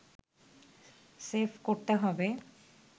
save করতে হবে